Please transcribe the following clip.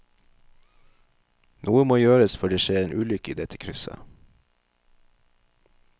Noe må gjøres før det skjer en ulykke i dette krysset.